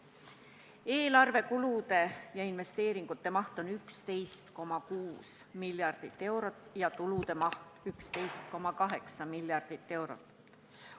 Eelarvekulude ja investeeringute maht on 11,6 miljardit eurot ja tulude maht 11,8 miljardit eurot.